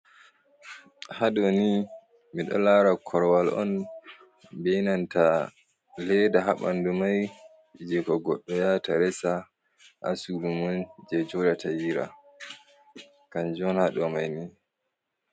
Ha ɗooni mi ɗo laara korwal on, be nanta leda ha ɓandu mai, jee ko goɗɗo ya hata reesa ha surumun je joɗata jira, kanju on ha ɗo mai ni.